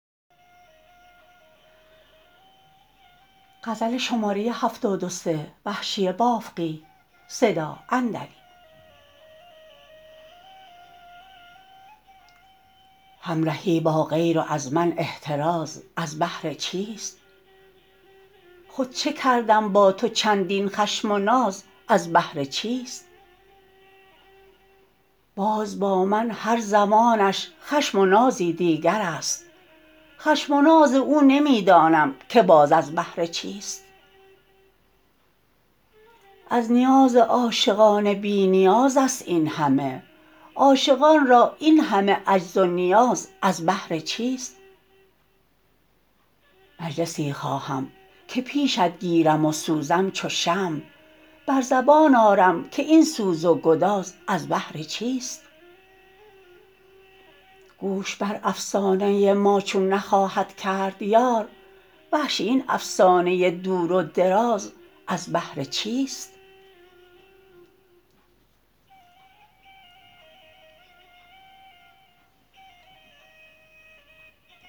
همرهی با غیر و از من احتراز از بهر چیست خود چه کردم با تو چندین خشم و ناز از بهر چیست باز با من هر زمانش خشم و نازی دیگر است خشم و ناز او نمی دانم که باز از بهر چیست از نیاز عاشقان بی نیاز است اینهمه عاشقان را اینهمه عجز و نیاز از بهر چیست مجلسی خواهم که پیشت گیریم و سوزم چو شمع بر زبان آرم که این سوز و گداز از بهر چیست گوش بر افسانه ما چون نخواهد کرد یار وحشی این افسانه دور و دراز از بهر چیست